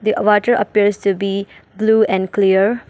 The water appears to be blue and clear.